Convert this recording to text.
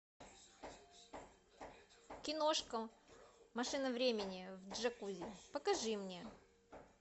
киношка машина времени в джакузи покажи мне